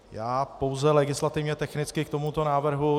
Já pouze legislativně technicky k tomuto návrhu.